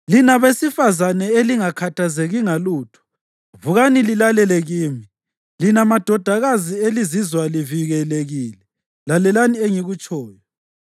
Lina besifazane elingakhathazeki ngalutho, vukani lilalele kimi; lina madodakazi elizizwa livikelekile, lalelani engikutshoyo!